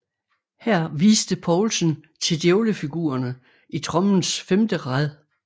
Her viste Poulsen til djævlefigurene i trommens femte rad